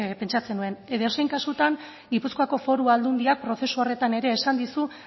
pentsatzen nuen edozein kasutan gipuzkoako foru aldundiak prozesu horretan ere esan dizu